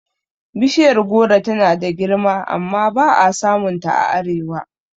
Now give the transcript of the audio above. Bishiyar goro tana da girma amma ba'a samun ta a arewa